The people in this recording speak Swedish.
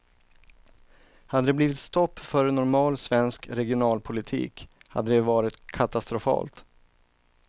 Hade det blivit stopp för normal svensk regionalpolitik hade det varit katastrofalt.